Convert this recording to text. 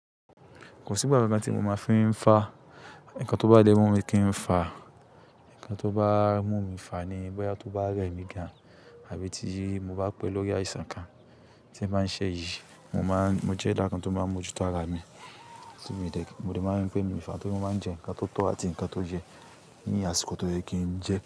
Kò sí ìbába tí mo máa fi ń fa. Ǹkan tó bá mu mi kí ń fa, ǹkan tó bá mú mi fà ní bóyá tó bá rẹ̀ mí gan, àbí tí mo bá pẹ́ lórí àìsàn kan tí ń máa ń ṣẹ́ ìjì, mo máa ń, mo jẹ́ eda kan tó máa ń mójú tó ara mi, tí mi dẹ̀, mo dẹ̀ máa ń pẹ́ mi fà tó bá máa ń jẹ ǹkan tó tọ́ àti ǹkan tó yẹ ní àsìkò tó yẹ kí n je.